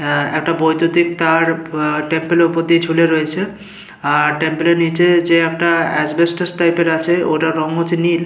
আ বৈদ্যুতিক তার আ টেম্পেলের ওপর দিয়ে ঝুলে রয়েছে। আর টেম্পেলের নিচে যে একটা এসবেস্টস টাইপের আছে ওটার রং হচ্ছে নীল ।